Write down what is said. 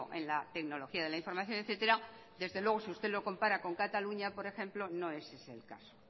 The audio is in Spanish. en la tecnología de la información etcétera desde luego si usted lo compara con cataluña por ejemplo no es ese el caso